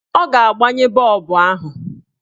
Ọ ga-agbanye bọọbụ ahụ.